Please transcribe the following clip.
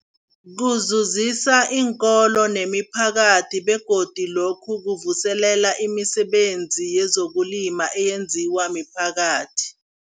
Kuzuzisa iinkolo nemiphakathi begodu lokhu kuvuselela imisebenzi yezokulima eyenziwa miphakathi.